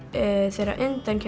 þegar